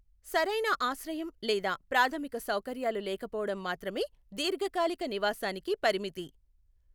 సరైన ఆశ్రయం లేదా ప్రాథమిక సౌకర్యాలు లేకపోవడం మాత్రమే దీర్ఘకాలిక నివాసానికి పరిమితి.